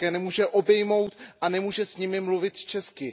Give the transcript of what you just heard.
Matka je nemůže obejmout a nemůže s nimi mluvit česky.